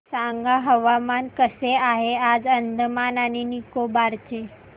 सांगा हवामान कसे आहे आज अंदमान आणि निकोबार चे